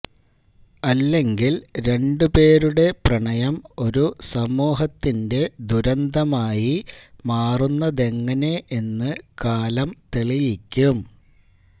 അല്ലെങ്കില് രണ്ടു പേരുടെ പ്രണയം ഒരു സമൂഹത്തിന്റെ ദുരന്തമായി മാറുന്നതെങ്ങനെ എന്ന് കാലം തെളിയിയ്ക്കും